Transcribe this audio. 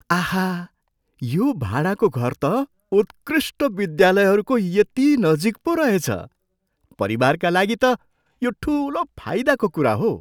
आहा, यो भाडाको घर त उत्कृष्ट विद्यालयहरूको यति नजिक पो रहेछ। परिवारका लागि त यो ठुलो फाइदाको कुरा हो।